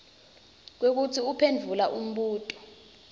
kwekutsi uphendvule umbuto